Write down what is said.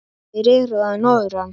Þeir eru að norðan.